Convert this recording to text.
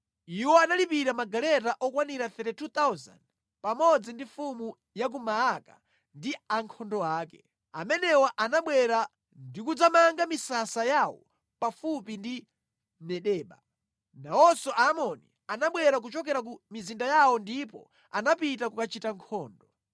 Iwo analipira magaleta okwanira 32,000, pamodzi ndi mfumu ya ku Maaka ndi ankhondo ake. Amenewa anabwera ndi kudzamanga misasa yawo pafupi ndi Medeba. Nawonso Aamoni anabwera kuchokera ku mizinda yawo ndipo anapita kukachita nkhondo.